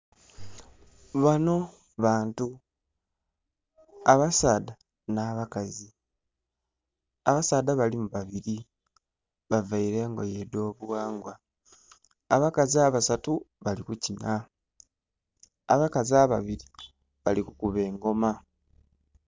Banho bantu abasaadha nha bakazi abasaadha balimu babiri bavaire engoye edho bughangwa abakazi abasatu bali ku kinha, abakazi ababiri bali kukuba engoma.